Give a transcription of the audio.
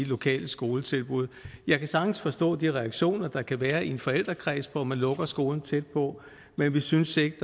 lokale skoletilbud jeg kan sagtens forstå de reaktioner der kan være i en forældrekreds når man lukker skolen tæt på men vi synes ikke